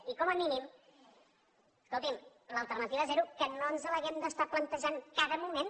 i com a mínim escolti’m l’alternativa zero que no els l’hàgim d’estar plantejant cada moment